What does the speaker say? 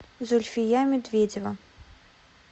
зульфия медведева